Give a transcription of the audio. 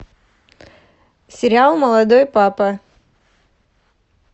сериал молодой папа